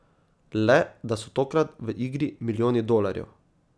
Le da so tokrat v igri milijoni dolarjev.